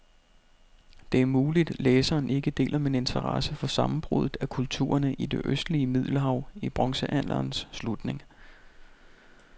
Det er muligt, læseren ikke deler min interesse for sammenbruddet af kulturerne i det østlige middelhav i bronzealderens slutning.